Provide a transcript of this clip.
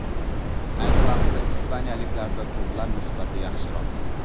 Ayni vaqtda ispaniyaliklarda to‘plar nisbati yaxshiroq.